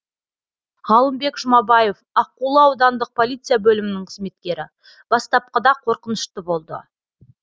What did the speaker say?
ғалымбек жұмабаев аққулы аудандық полиция бөлімінің қызметкері бастапқыда қорқынышты болды